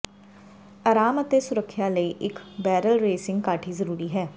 ਆਰਾਮ ਅਤੇ ਸੁਰੱਖਿਆ ਲਈ ਇਕ ਬੈਰਲ ਰੇਸਿੰਗ ਕਾਠੀ ਜ਼ਰੂਰੀ ਹੈ